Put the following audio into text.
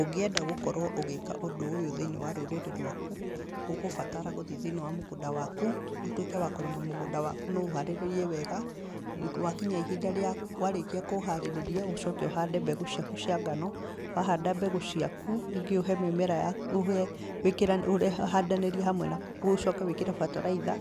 Ũngĩenda gũkorwo ũgĩka ũndũ ũyũ thĩiniĩ wa rũrĩrĩ rwaku ũgũbatara gũthiĩ thĩiniĩ wa mũgũnda waku ũtuĩke wa kũrĩma mũgũnda waku na ũharĩrĩrie wega. Warĩkia kũũharĩrĩria ũcoke ũhande mbegũ ciaku cia ngano, wahanda mbegũ ciaku, rĩngĩ ũhũre mĩmera , uhandanĩrie, ũcoke wĩkĩre bataraitha